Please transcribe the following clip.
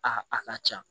A a ka ca